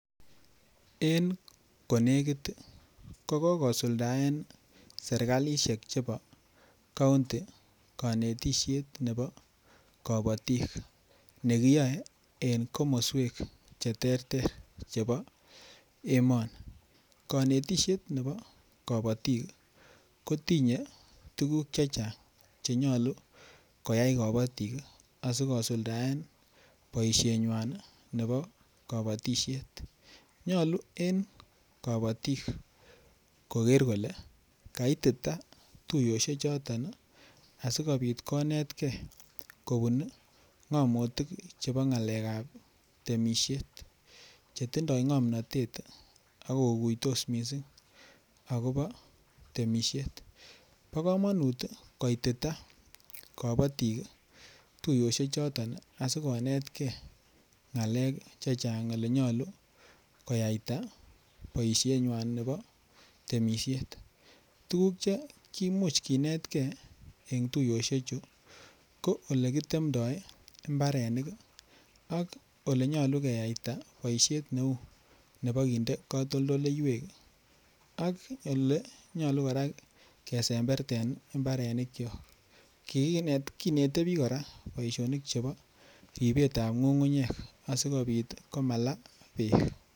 En ko negit ii ko kosuldaen serkalisiek chebo kaunti kanetisiet nebo kabatik nekiyoe en komoswek Che terter chebo emoni konetisiet nebo kabatik ko tinye tuguk Che Chang Che nyolu koyai kabatik asi kosuldaen boisienywan nebo kabatisiet nyolu en kabatik koger kole kaitita tuiyosiechoton asikobit konetgei kobun ngomotik kobun ngalek chebo temisiet Che tindoi ngomnatet ak koguitos mising agobo temisiet bo kamanut koitita kabatik tuiyosiek choton asi konetgei ngalek Che Chang Ole nyolu koyaita boisienywan nebo temisiet tuguk Che imuch kinet gei en tuiyosiechu ko ole kitemdo mbarenik ak Ole nyolu keyaita boisiet neu nebo kinde katoldoleywek ak Ole nyolu kora kesemberten mbarenikyok kinete bik kora boisionik chebo ribet ab ngungunyek asikobit komala bek